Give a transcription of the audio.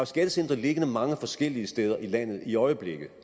skattecentre liggende mange forskellige steder i landet i øjeblikket